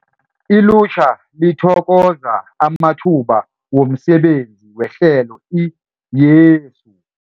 Ilutjha lithokoza amathuba womsebenzi wehlelo i-YESU